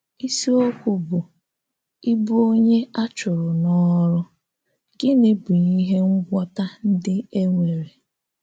Ìsíòkù bụ́ “Ịbụ Ọ̀nyé A Chùrụ̀ n’Ọ̀rụ̀ — Gịnị Bụ́ Íhè Ngwọ́tà Ndí E Nwèrè?”